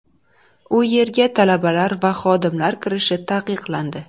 U yerga talabalar va xodimlar kirishi taqiqlandi.